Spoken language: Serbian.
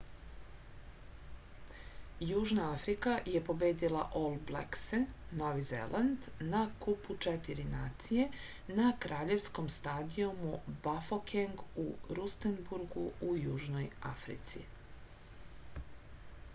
јужна африка је победила ол блексе нови зеланд на купу четири нације на краљевском стадијуму бафокенг у рустенбургу у јужној африци